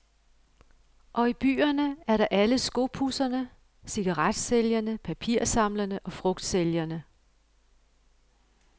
Og i byerne er der alle skopudserne, cigaretsælgerne, papirsamlerne og frugtsælgerne.